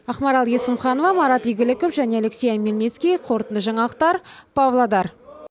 ақмарал есімханова марат игіліков және алексей омельницкий қорытынды жаңалықтар павлодар